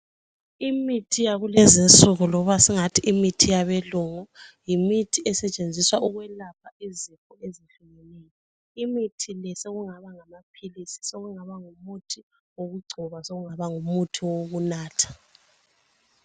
Imithi yakulezinsuku loba singathi imithi yabelungu yimithi esetshenziswa ukwelapha izifo ezehlukeneyo. Imithi le sokungaba ngamaphilisi ,sokungaba ngumuthi wokugcoba, sokungaba ngumuthi wokunatha.